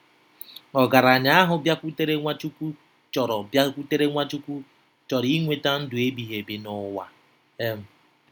Ogaranya ahụ bịakwutere Nwachukwu chọrọ bịakwutere Nwachukwu chọrọ inweta ndụ ebighị ebi n'ụwa. um